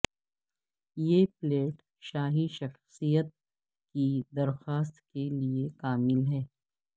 یہ پلیٹ شاہی شخصیت کی درخواست کے لئے کامل ہے